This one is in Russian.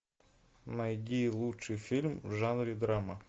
найди лучший фильм в жанре драма